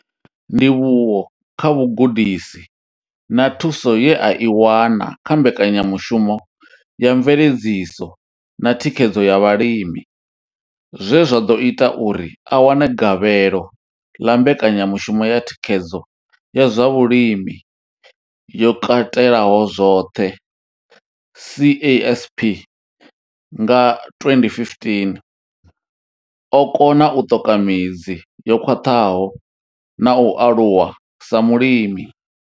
Ndivhuwo kha vhugudisi na thuso ye a i wana kha mbekanyamushumo ya mveledziso na thikhedzo ya vhalimi zwe zwa ḓo ita uri a wane gavhelo ḽa mbekanyamushumo ya thikhedzo ya zwa vhulimi yo katelaho zwoṱhe CASP nga 2015, o kona u ṱoka midzi yo khwaṱhaho na u aluwa sa mulimi.